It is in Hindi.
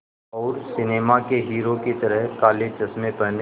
और सिनेमा के हीरो की तरह काले चश्मे पहने